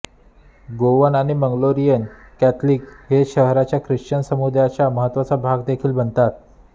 Goan आणि Mangalorean Catholic हे शहराच्या ख्रिश्चन समुदायाचा महत्त्वाचा भाग देखील बनवतात